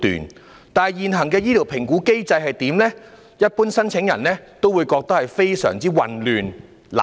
可是，對於現行醫療評估機制，一般申請人也會感到混淆和難以理解。